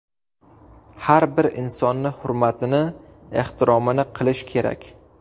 Har bir insonni hurmatini, ehtiromini qilish kerak.